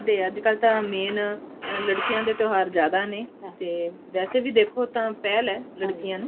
ਤੇ ਅੱਜਕਲ ਤਾਂ main ਲੜਕੀਆਂ ਦੇ ਤਿਓਹਾਰ ਜਿਆਦਾ ਨੇ ਵੈਸੇ ਵੀ ਦੇਖੋ ਤਾਂ ਪਹਿਲ ਹੈ ਲੜਕੀਆਂ ਨੂੰ